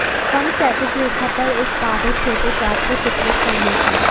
कम क्षैतिज रेखा पर इस बाधित छोटे चाप को चित्रित करने की